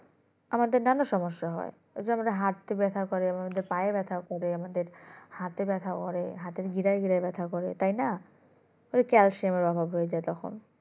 আমাদের নানা সমস্যা হয় এই যে আমাদের হাতে ব্যাথা করে আমাদের পায়ে ব্যথা করে আমাদের হাতে ব্যথা করে হাতের গিরায় গিরায় ব্যথা করে তাই না ওই calcium এর অভাবে যেটা হয়